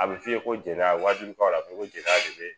A bɛ f'i ye ko jɛnɛya wajulukanw la a bɛ ko jɛnɛya de be